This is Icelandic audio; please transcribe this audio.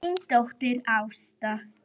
Þín dóttir, Ásta.